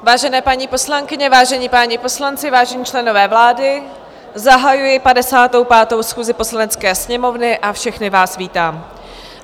Vážené paní poslankyně, vážení páni poslanci, vážení členové vlády, zahajuji 55. schůzi Poslanecké sněmovny a všechny vás vítám.